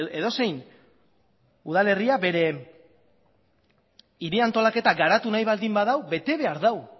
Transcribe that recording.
edozein udalerria bere hiri antolaketa garatu nahi baldin badu bete behar du